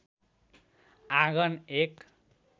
आँगन एक